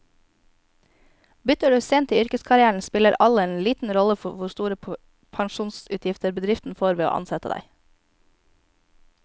Bytter du sent i yrkeskarrieren, spiller alder liten rolle for hvor store pensjonsutgifter bedriften får ved å ansette deg.